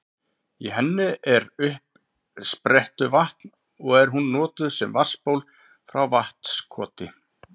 Í henni er uppsprettuvatn og er hún notuð sem vatnsból frá Vatnskoti.